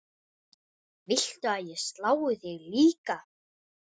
Viltu að ég slái þig líka?